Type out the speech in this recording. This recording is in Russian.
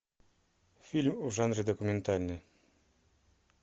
фильм в жанре документальный